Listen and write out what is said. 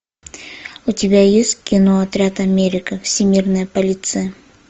у тебя есть кино отряд америка всемирная полиция